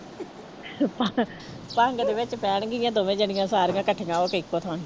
ਭੰਗ ਦੇ ਵਿੱਚ ਪੈਣਗੀਆਂ ਦੋਵੇਂ ਜਾਣੀਆਂ ਸਾਰੀਆਂ ਇਕੱਠੀਆਂ ਹੋ ਕੇ ਇੱਕੋ ਥਾਂ